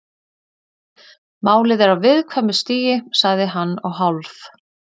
Málið er á viðkvæmu stigi- sagði hann og hálf